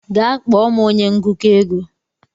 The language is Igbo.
Gaa kpọọ m onye ngụkọ ego.